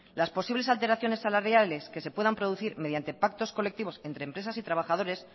las posibles alteraciones salariales que se puedan producir mediante pactos colectivos entre empresas y trabajadores